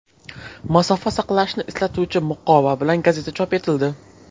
Masofa saqlashni eslatuvchi muqova bilan gazeta chop etildi.